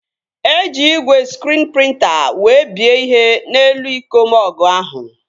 Eji igwe skriin prịnta wee bie ihe n'elu iko mọgụ ahụ